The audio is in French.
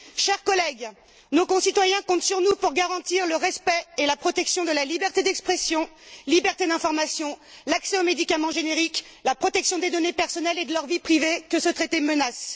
Chers collègues, nos concitoyens comptent sur nous pour garantir le respect et la protection de la liberté d'expression, de la liberté d'information, de l'accès aux médicaments génériques, des données personnelles et de leur vie privée, que ce traité menace.